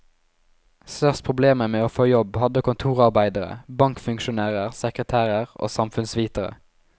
Størst problemer med å få jobb hadde kontorarbeidere, bankfunksjonærer, sekretærer og samfunnsvitere.